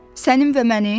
Sənin və mənim?